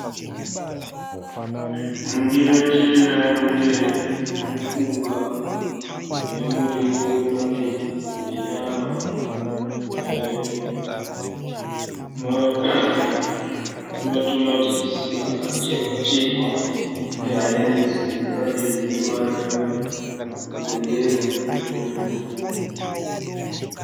Mundiro chena mune mupunga nemuriwo uri padivi nenyama nematomatisi akachekwachekwa nehanyanisi dziripadivi dzineruvara rweyero nezvimwe zvegirini.